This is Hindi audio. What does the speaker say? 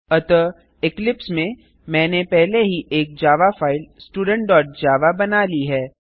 अतः इक्लिप्स में मैंने पहले ही एक जावा फाइल studentजावा बना ली है